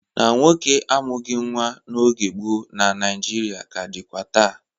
Na nwoke amughị nwa n'oge gboo na Naịjirịa ka dịkwa taa.